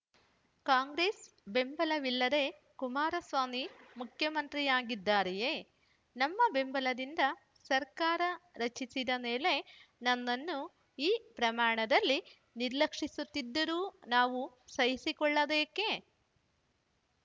ಕಾಂಗ್ರೆಸ್‌ ಬೆಂಬಲವಿಲ್ಲದೆ ಕುಮಾರಸ್ವಾಮಿ ಮುಖ್ಯಮಂತ್ರಿಯಾಗಿದ್ದಾರೆಯೇ ನಮ್ಮ ಬೆಂಬಲದಿಂದ ಸರ್ಕಾರ ರಚಿಸಿದ ಮೇಲೆ ನನ್ನ ನ್ನು ಈ ಪ್ರಮಾಣದಲ್ಲಿ ನಿರ್ಲಕ್ಷಿಸುತ್ತಿದ್ದರೂ ನಾವು ಸಹಿಸಿಕೊಳ್ಳಬೇಕೇ